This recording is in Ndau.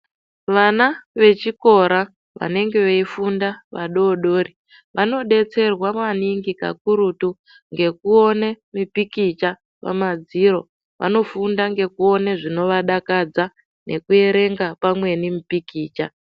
Vana vechikora vanenge veifunda vadodori vanodetserwa maningi kakurutu ngekuone mipikicha pamadziro. Vanofunda ngekuone zvinovadakadza nekuerenga pamweni mipikicha.